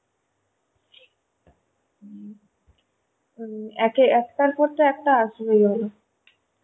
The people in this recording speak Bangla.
একে~ একটার পর তো একটা আসবেই বলো?